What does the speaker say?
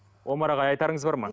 омар ағай айтарыңыз бар ма